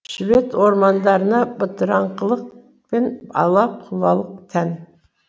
швед ормандарына бытырыңқылық пен ала құлалық тән